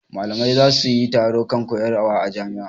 Malamai za su yi taro kan koyarwa a jami'a.